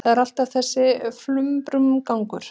Það er alltaf þessi flumbrugangur.